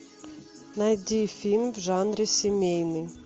найди фильм в жанре семейный